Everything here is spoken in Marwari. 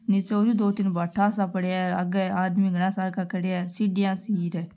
नीचे ओरु दो तीन भाटा सा पड़या है आगे आदमी घणा सार का खड्या है सिडिया सी र --